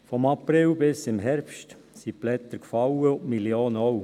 Von April bis zum Herbst sind die Blätter gefallen und die Millionen auch.